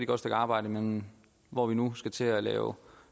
godt stykke arbejde men hvor vi nu skal til at lave